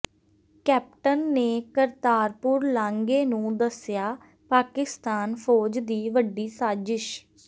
captain ਨੇ ਕਰਤਾਰਪੁਰ ਲਾਂਘੇ ਨੂੰ ਦੱਸਿਆ ਪਾਕਿਸਤਾਨ ਫ਼ੌਜ ਦੀ ਵੱਡੀ ਸਾਜ਼ਿਸ਼